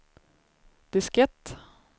diskett